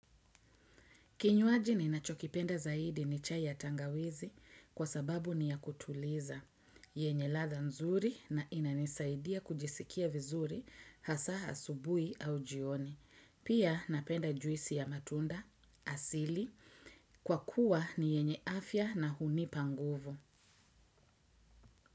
Kinywaji ninachokipenda zaidi ni chai ya tangawizi kwa sababu ni ya kutuliza. Yenye ladha nzuri na inanisaidia kujisikia vizuri hasa asubuhi au jioni. Pia napenda juisi ya matunda asili kwa kuwa ni yenye afya na hunipa nguvu.